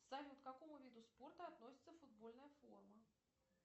салют к какому виду спорта относится футбольная форма